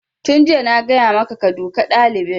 Tun jiya na gaya maka ka duka ɗalibin!